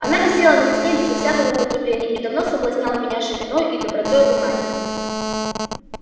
она висела на стене безо всякого употребления и давно соблазняла меня шириною и добротою бумаги